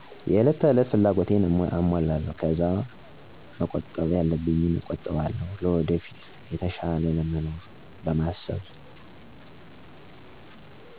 የእለት ከእለት ፍላጎቴን አሞላለው ከዛ መቆጣብ ያለብኝን እቆጥባለው ለወደፊት የተሻለ ለመኖር።